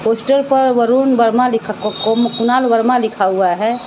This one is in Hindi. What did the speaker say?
पोस्टर पर वरुण वर्मा कुणाल वर्मा लिखा हुआ है।